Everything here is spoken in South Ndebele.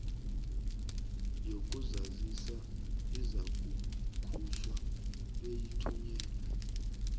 yokuzazisa izakukhutjhwa beyithunyelelwe